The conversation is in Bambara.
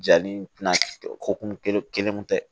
Ja ni ko kun kelen kun tɛ